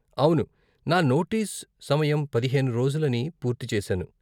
అవును, నా నోటీస్ సమయం పదిహేను రోజులని పూర్తి చేశాను.